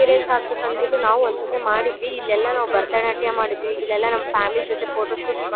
experience ಆಗ್ಬೇಕು ಅಂದ್ಬಿಟ್ಟು ನಾವು ಒಂದ್ ಸಾಥಿ ಮಾಡಿದ್ವಿ ಇಲ್ ಎಲ್ಲ ನಾವು ಭರತ್ಯನಾಟ್ಯ ಮಾಡಿದ್ವಿ ಇಲ್ ಎಲ್ಲ ನಮ್ ಫ್ಯಾಮಿಲಿ ಜೊತೆ ಫೋಟೋಶೋಟ್ಸ್ ಮ--